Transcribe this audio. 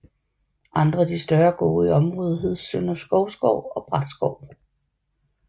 Andre af de større gårde i området hed Sønder Skovsgård og Bratskov